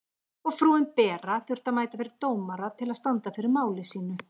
Og frúin Bera þurfti að mæta fyrir dómara til að standa fyrir máli sínu.